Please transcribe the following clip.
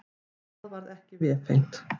Það varð ekki vefengt.